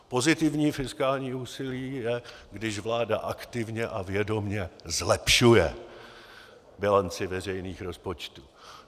Pozitivní fiskální úsilí je, když vláda aktivně a vědomě zlepšuje bilanci veřejných rozpočtů.